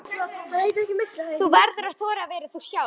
Þú verður að þora að vera þú sjálf.